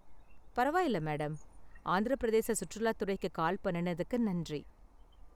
பரவாயில்ல மேடம், ஆந்திர பிரதேச சுற்றுலாத்துறைக்கு கால் பண்ணுனதுக்கு நன்றி.